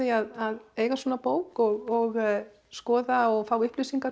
að eiga svona bók og skoða og fá upplýsingar